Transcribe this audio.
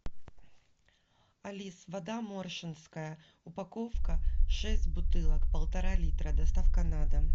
алиса вода моршенская упаковка шесть бутылок полтора литра доставка на дом